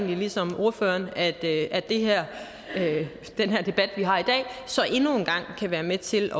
ligesom ordføreren at den her debat vi har i dag så endnu en gang kan være med til